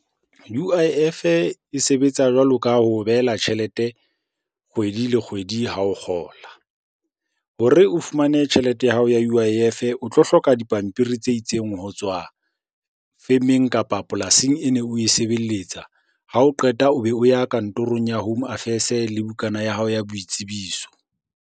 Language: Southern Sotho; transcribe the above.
U_I_F-e e sebetsa jwalo ka ho o behela tjhelete kgwedi le kgwedi ha o kgola. Hore o fumane tjhelete ya hao ya U_I_F-e o tlo hloka dipampiri tse itseng ho tswa femeng kapa polasing ene oe sebeletsa. Ha o qeta o be o ya kantorong ya Home Affairs le bukana ya hao ya boitsebiso.